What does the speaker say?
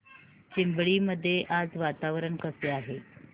चिंबळी मध्ये आज वातावरण कसे आहे